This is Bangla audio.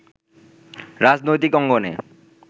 রাজনৈতিক অঙ্গনে